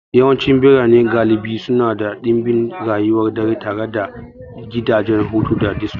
Yawancin birane galibi suna da ɗimbin rayuwar dare tare da gidajen hutu da disko.